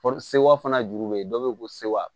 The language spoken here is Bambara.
Fɔ sewa fana juru bɛ yen dɔw bɛ ko sewa